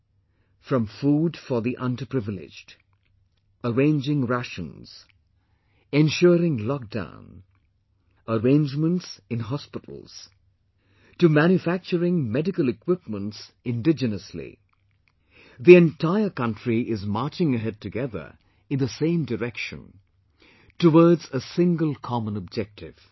From food for the underprivileged, arranging rations, ensuring lockdown, arrangements in hospitals to manufacturing medical equipments indigenously...the entire country is marching ahead together in the same direction, towards a single common objective